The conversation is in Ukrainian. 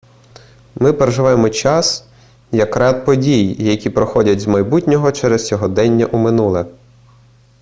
ми переживаємо час як ряд подій які проходять з майбутнього через сьогодення у минуле